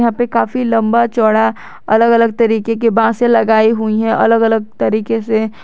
पे काफी लंबा चौड़ा अलग अलग तरीके के बासे लगाई हुई है अलग अलग तरीके से--